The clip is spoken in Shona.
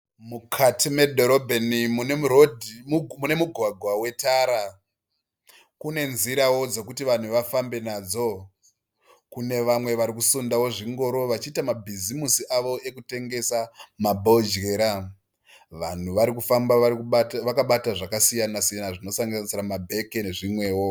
Mukati medhorobheni mune mugwagwa wetara. Kune nzirawo dzekuti vanhu vafambe nadzo. Kune vamwe vari kusundawo zvingoro vachiita bhizimusi avo okutengesa mabhodyera. Vanhu varikufamba vakabata zvakasiyana siyana zvinosanganisira mabheke nezvimwewo.